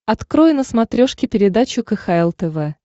открой на смотрешке передачу кхл тв